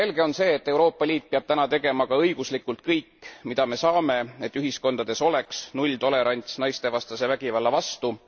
Selge on see, et Euroopa Liit peab täna tegema ka õiguslikult kõik, mida me saame, et ühiskondades oleks nulltolerants naistevastase vägivalla vastu.